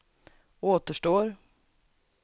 återstår